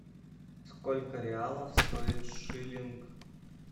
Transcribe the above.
сколько реалов стоит шиллинг